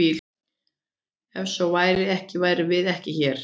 Ef svo væri ekki værum við ekki hér!